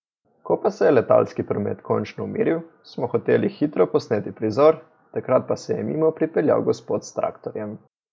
Ko pa se je letalski promet končno umiril, smo hoteli hitro posneti prizor, takrat pa se je mimo pripeljal gospod s traktorjem ...